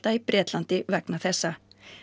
í Bretlandi vegna þessa